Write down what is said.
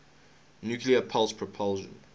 nuclear pulse propulsion